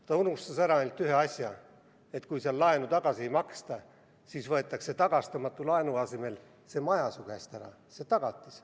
Ta unustas ära ainult ühe asja: kui seal laenu tagasi ei maksta, siis võetakse tagastamatu laenu asemel sul käest ära see maja, see tagatis.